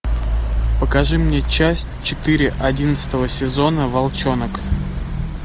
покажи мне часть четыре одиннадцатого сезона волчонок